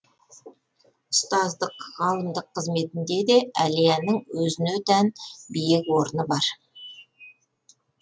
ұстаздық ғалымдық қызметінде де әлияның өзіне тән биік орны бар